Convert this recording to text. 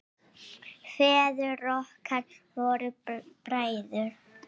Feður okkar voru bræður.